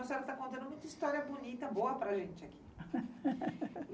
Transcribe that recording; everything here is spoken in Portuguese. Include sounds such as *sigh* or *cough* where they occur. A senhora tá contando muita história bonita, boa para gente aqui. *laughs*